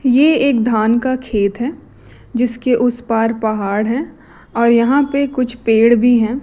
ये एक धान का खेत हैं जिसके उस पार पहाड़ हैं और यहां पे कुछ पेड़ भी हैं।